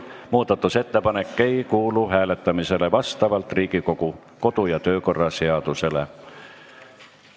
Muudatusettepanek ei kuulu hääletamisele vastavalt Riigikogu kodu- ja töökorra seadusele.